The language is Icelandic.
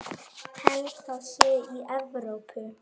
Held það sé í Evrópu.